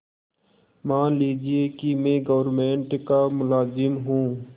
मान लीजिए कि मैं गवर्नमेंट का मुलाजिम हूँ